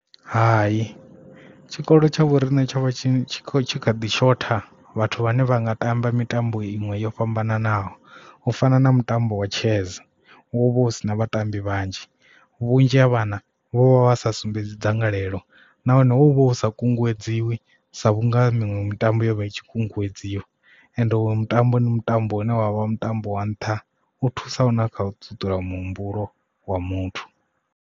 Hai tshikolo tsha vho riṋe tsho vha tshi kha ḓi shotha vhathu vhane vhanga tamba mitambo iṅwe yo fhambananaho u fana na mutambo wa chess wovha u sina vhatambi vhanzhi vhunzhi ha vhana vho vha vha sa sumbedzi e dzangalelo nahone hu vha hu sa kunguwedziwa sa vhunga miṅwe mitambo yo vha itshi kunguwedziwa ende u mutambo ndi mutambo une wavha mutambo wa nṱha u thusa hu na kha tutula muhumbulo wa muthu.